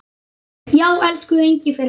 Já, elsku Engifer minn.